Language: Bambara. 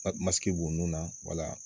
Masigi b'o nun na wala